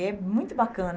É muito bacana.